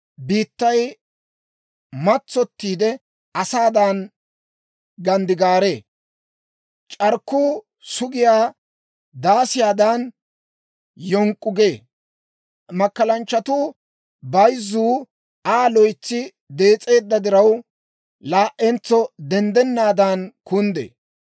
Biittay matsottiide asaadan ganddigaaree; c'arkkuu sugiyaa daasiyaadan, yonk'k'u gee. Makkalanchchatuu bayzzuu Aa loytsi dees'eedda diraw, laa"entso denddennaadan kunddee.